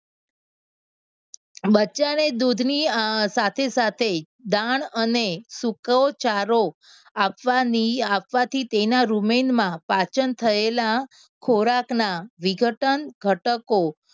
બચ્ચાને દૂધની અમ સાથે સાથે દાળ અને સૂકોચારો આપવાની આપવાથી તેના રૂમેનમાં પાચન થયેલા ખોરાકના વિઘટન ઘટકો